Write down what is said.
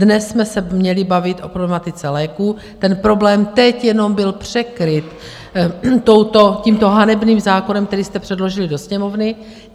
Dnes jsme se měli bavit o problematice léků, ten problém teď jenom byl překryt tímto hanebným zákonem, který jste předložili do Sněmovny.